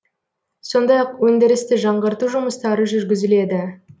сондай ақ өндірісті жаңғырту жұмыстары жүргізіледі